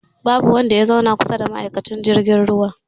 Babu wanda ya zauna kusa da ma'aikacin jirgin ruwan